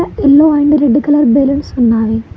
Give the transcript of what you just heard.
Yellow and red colour balloons ఉన్నాయి.